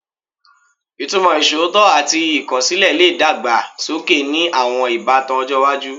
Ìtumọ̀ iṣootọ ati ikosile le dàgbà sókè ni àwọn ìbátan ọjọ́ iwájú